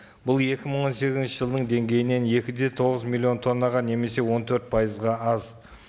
бұл екі мың он сегізінші жылдың деңгейінен екі де тоғыз миллион тоннаға немесе он төрт пайызға аз